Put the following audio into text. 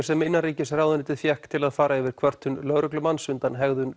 sem innanríkisráðuneytið fékk til að fara yfir kvörtun lögreglumanns undan hegðun